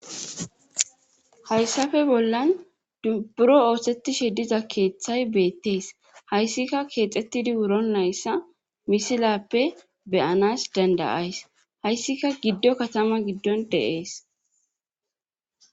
hayssafe bollan dubburo oosetishe diza keeththay beettees hayssika keexettidi wuron layssa misilappe beyanas dandayays hayssika giddo katama giddon deees